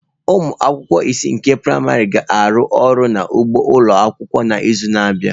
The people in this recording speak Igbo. Ụmụ akwụkwọ isii nke praịmarị ga-arụ ọrụ n'ugbo ụlọ akwụkwọ n'izu na-abịa